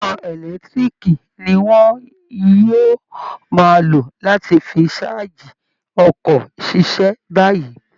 Iná ẹ̀lẹ́tiíríìkì ni wọ́n yóò máa lò láti fi ṣáàjì ọkọ̀ ṣiṣẹ́ báyìí